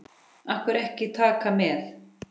Af hverju ekki Taka með?